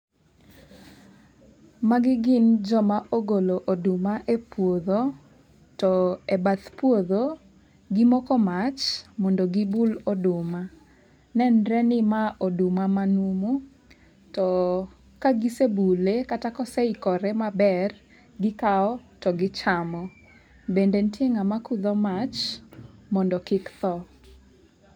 Magi gin joma ogolo oduma e puodho. To e bath puodho, gimoko mach mondo gibul oduma. Nenre ni ma oduma manumu. To kagisebule kata koseikore maber, gikawo to gichamo. Bende ntie ng'ama kudho mach mondo kik tho.